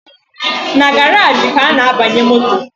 Na garaji ka a na-abanye moto